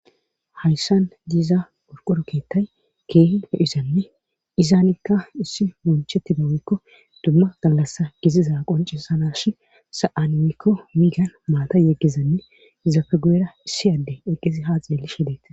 hayssan diiza burqoro keettay keehi e izanne izaanikka issi monchetti dawekko dumma gallassa giziza qoncesanashi sa7anmikko miigan maata yeggizanne izafe guyera issi adde eqqizi haa xeeli she deeta